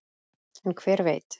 En hver veit?